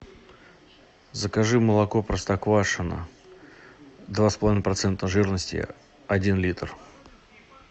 закажи молоко простоквашино два с половиной процента жирности один литр